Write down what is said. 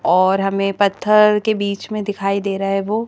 और हमें पत्थर के बीच में दिखाई दे रहा है वो--